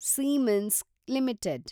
siemens limited